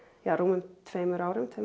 rúmum tveimur árum tveimur